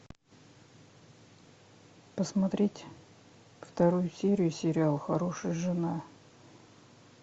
посмотреть вторую серию сериала хорошая жена